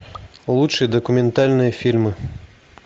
лучшие документальные фильмы